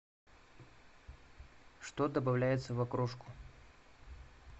что добавляется в окрошку